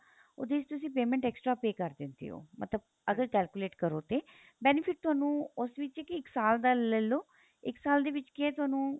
ਉਹਦੇ ਚ ਤੁਸੀਂ payment extra pay ਕਰ ਦਿੰਦੇ ਓ ਮਤਲਬ ਅਗਰ calculate ਕਰੋ ਤੇ benefit ਤੁਹਾਨੂੰ ਉਸ ਵਿੱਚ ਇੱਕ ਸਾਲ ਦਾ ਲੈਲੋ ਇੱਕ ਸਾਲ ਦੇ ਵਿੱਚ ਕੀ ਏ ਤੁਹਾਨੂੰ